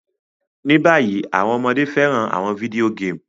Ní bayi, àwon ọmọde fẹ́ràn àwon video game